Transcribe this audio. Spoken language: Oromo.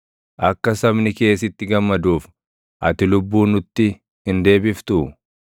Akka sabni kee sitti gammaduuf, ati lubbuu nutti hin deebiftuu?